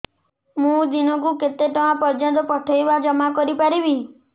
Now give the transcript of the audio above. ମୁ ଦିନକୁ କେତେ ଟଙ୍କା ପର୍ଯ୍ୟନ୍ତ ପଠେଇ ବା ଜମା କରି ପାରିବି